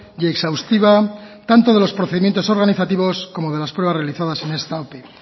y exhaustiva tanto de los procedimientos organizativos como de las pruebas realizadas en esta ope